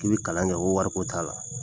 K'i kalan kɛ ko wariko t'a la